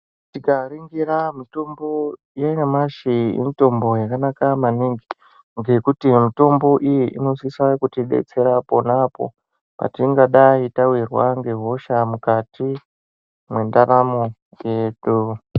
Tikaringira mitombo yanyamashi, mitombo yakanaka maningi, ngekuti mitombo iyi inosisa kutibetsera apo neapo patingadai tawirwa ngehosha mukati mwendaramo yedu.